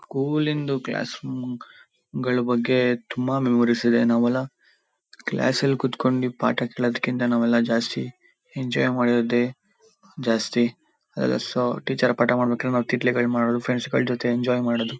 ಸ್ಕೂಲಿಂದು classroom ಗಳ ಬಗ್ಗೆ ತುಂಬಾ ಮೆಮೊರಿಸ್ ಇದೆ. ನಾವೆಲ್ಲ ಕ್ಲಾಸಲ್ ಕುತ್ಕೊಂಡಿ ಪಾಠ ಕೇಳೋದ್ಕಿಂತ ನಾವೆಲ್ಲ ಜಾಸ್ತಿ ಎಂಜಾಯ್ ಮಾಡಿರೋದೆ ಜಾಸ್ತಿ. ಅಹ ಸೊ ಟೀಚರ್ ಪಾಠ ಮಾಡಬೇಕಾದ್ರೆ ನಾವ್ ತಿಟ್ಲೆಗಳನ್ ಮಾಡೋದು ಫ್ರೆಂಡ್ಸ್ ಗಳ ಜೊತೆ ಎಂಜಾಯ್ ಮಾಡೋದು.